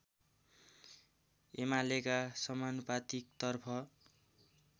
एमालेका समानुपातिकतर्फ